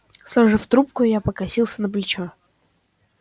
сложив трубку я покосился на плечо